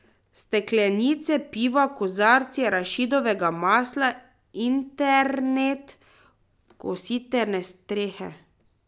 Steklenice piva, kozarci arašidovega masla, internet, kositrne strehe ...